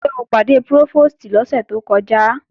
Ṣé o pàdé Prófòstì lọ́sẹ̀ tó kọjá?